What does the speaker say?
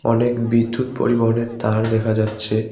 অনেক বিদ্যুৎ পরিবহনের তার দেখা যাচ্ছে।